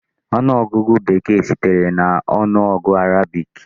Ọnụọgụgụ Bekee sitere na ọnụọgụ Arabic.